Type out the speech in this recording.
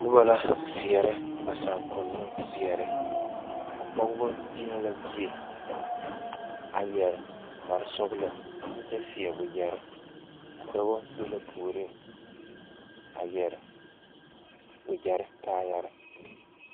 Noba la seɛrɛ ba saakonnoŋ seɛre ka pɔge de yie a yɛre kparesɔglɔ a kyɛ seɛ wagyɛre a dɔba be la puoriŋ a yɛre wagyɛre kaayɛrɛɛ.